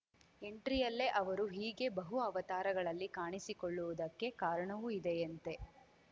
ಎಂಟ್ರಿಯಲ್ಲೇ ಅವರು ಹೀಗೆ ಬಹು ಅವತಾರಗಳಲ್ಲಿ ಕಾಣಿಸಿಕೊಳ್ಳುವುದಕ್ಕೆ ಕಾರಣವೂ ಇದೆಯಂತೆ